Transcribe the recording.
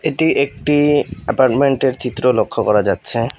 এটি একটি অ্যাপারমেন্টের চিত্র লক্ষ্য করা যাচ্ছে।